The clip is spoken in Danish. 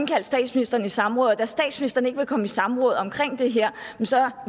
kaldt statsministeren i samråd og da statsministeren ikke vil komme i samråd om det her